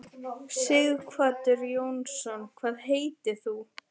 Sighvatur Jónsson: Hvað heitir þú?